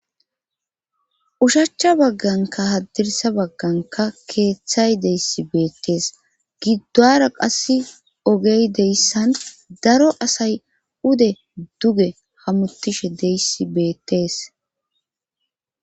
Ushachcha bagganka haddirsa bagganka keeththay deyssi beettees giddora qass ogey deyssan daro asay ude duge hamutishe deyssi beettees